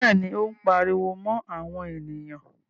Bẹ́ẹ̀ni, Ó ń pariwo mọ́ àwọn ènìyàn.